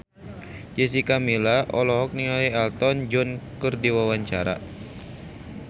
Jessica Milla olohok ningali Elton John keur diwawancara